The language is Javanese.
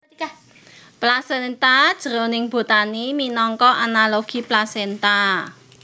Plasenta jroning botani minangka analogi plasenta